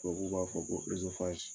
Tubabuw b'a fɔ ko